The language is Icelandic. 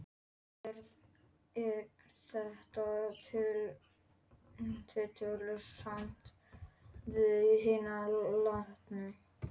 Og er þetta tillitssamt við hina látnu?